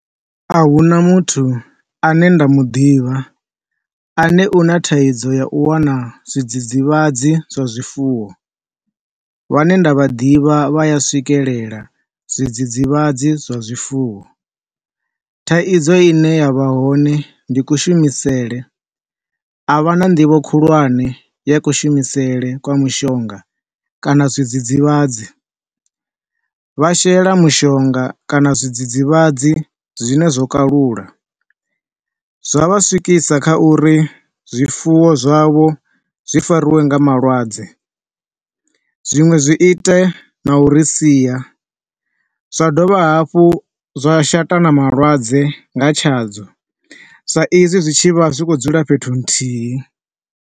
Ahuna muthu ane nda muḓivha ane u na thaidzo ya u wana zwi dzidzivhadzi zwa zwifuwo, vhane nda vha ḓivha vha a swikelela zwi dzidzivhadzi zwa zwifuwo. Thaidzo ine ya vha hone ndi ku shumisele, a vha na nḓivho khulwane ya kushumisele kwa mushonga kana zwidzidzivhadzi, vha shela mushonga kana zwidzidzivhadzi zwine zwo kalula zwa vha swikisa kha uri zwifuwo zwavho zwi fariwe nga malwadze, zwiṅwe zwi ite na uri sia. Zwa dovha hafhu zwa shatana malwadze nga tshadzo, sa izwi zwi tshi vha zwi khou dzula fhethu huthihi.